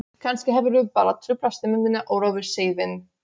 Kannski hefðirðu bara truflað stemninguna og rofið seiðinn.